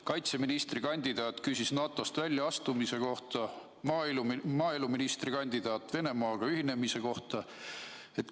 Kaitseministrikandidaat küsis NATO-st väljaastumise kohta, maaeluministrikandidaat Venemaaga ühinemise kohta.